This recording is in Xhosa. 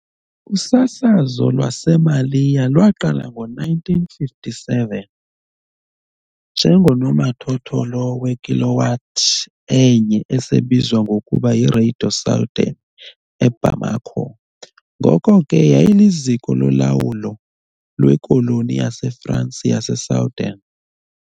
Usasazo lwaseMaliya lwaqala ngo-1957 njengonomathotholo wekilowatt enye esibizwa ngokuba "yiRadio Soudan" eBamako, ngoko ke yayiliziko lolawulo lwekoloni yaseFransi yaseSoudan .